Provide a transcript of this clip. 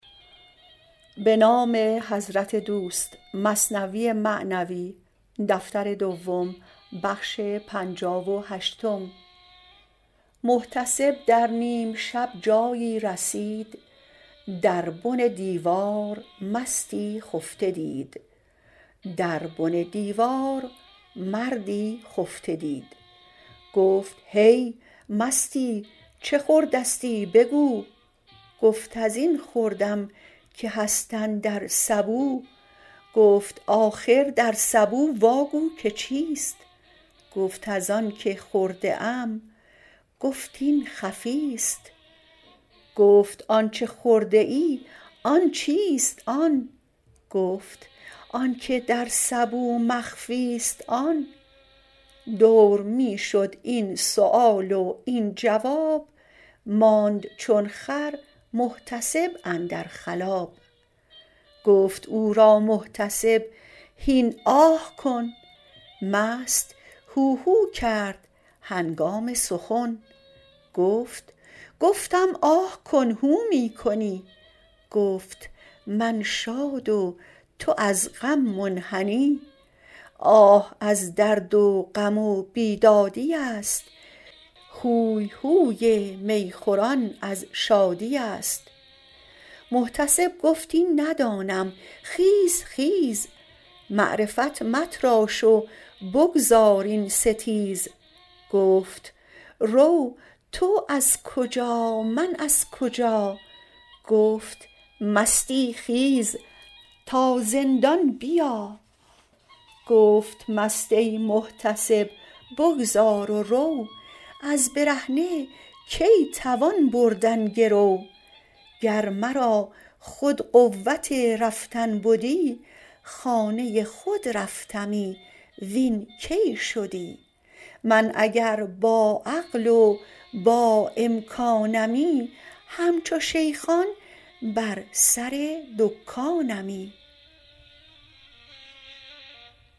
محتسب در نیم شب جایی رسید در بن دیوار مستی خفته دید گفت هی مستی چه خوردستی بگو گفت ازین خوردم که هست اندر سبو گفت آخر در سبو واگو که چیست گفت از آنک خورده ام گفت این خفیست گفت آنچ خورده ای آن چیست آن گفت آنک در سبو مخفیست آن دور می شد این سؤال و این جواب ماند چون خر محتسب اندر خلاب گفت او را محتسب هین آه کن مست هوهو کرد هنگام سخن گفت گفتم آه کن هو می کنی گفت من شاد و تو از غم منحنی آه از درد و غم و بیدادیست هوی هوی می خوران از شادیست محتسب گفت این ندانم خیز خیز معرفت متراش و بگذار این ستیز گفت رو تو از کجا من از کجا گفت مستی خیز تا زندان بیا گفت مست ای محتسب بگذار و رو از برهنه کی توان بردن گرو گر مرا خود قوت رفتن بدی خانه خود رفتمی وین کی شدی من اگر با عقل و با امکانمی همچو شیخان بر سر دکانمی